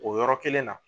O yɔrɔ kelen na